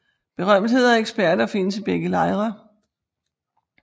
Berømtheder og eksperter findes i begge lejre